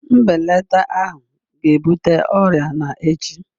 Mbelata ahụ ga-ebute ọrịa na echi